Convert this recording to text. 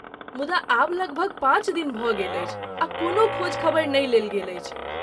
मुदा आब लगभग पाँच दिन भऽ गेल अछि आ कोनो खोज खबरि नहि लेल गेल अछि।